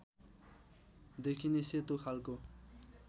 देखिने सेतो खालको